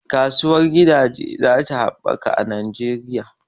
Kasuwar gidaje zatayi ta habbaka a Najeriya